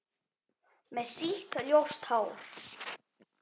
Með sítt, ljóst hár.